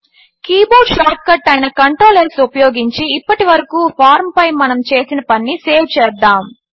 keyboard shortcut అయిన control S ఉపయోగించి ఇప్పటికి వరకు ఫార్మ్ పై మనము చేసిన పనిని సేవ్ చేద్దాము